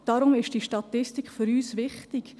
Deshalb ist diese Statistik für uns wichtig.